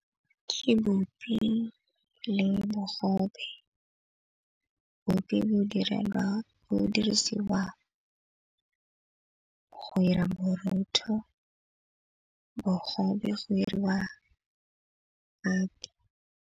Ke bupi le bogobe. Bupi bo dirisiwa go 'ira borotho bogobe bo 'iriwa .